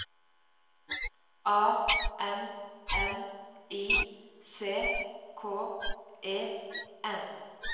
A N N I C K E N